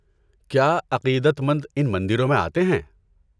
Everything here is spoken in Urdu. کیا عقیدت مند ان مندروں میں آتے ہیں؟